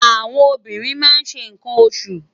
Áwòn óbìrín má n ṣé nkán óṣú